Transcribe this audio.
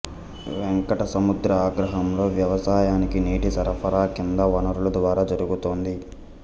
వెంకట సముద్ర అగ్రహారంలో వ్యవసాయానికి నీటి సరఫరా కింది వనరుల ద్వారా జరుగుతోంది